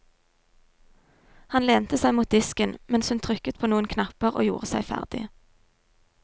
Han lente seg mot disken mens hun trykket på noen knapper og gjorde seg ferdig.